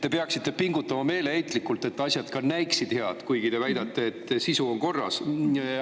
Te peaksite meeleheitlikult pingutama, et asjad ka näiksid head, kuigi te väidate, et sisu on korras.